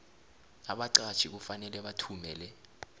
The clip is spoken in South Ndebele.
abaqatjhi kufanele bathumele